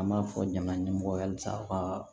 An b'a fɔ ɲaman ɲɛmɔgɔ halisa aw ka